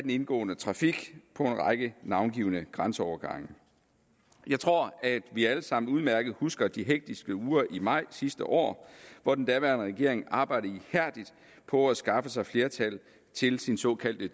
indgående trafik på en række navngivne grænseovergange jeg tror at vi alle sammen udmærket husker de hektiske uger i maj sidste år hvor den daværende regering arbejdede ihærdigt på at skaffe sig flertal til sin såkaldte